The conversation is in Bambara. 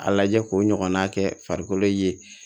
A lajɛ k'o ɲɔgɔnna kɛ farikolo ye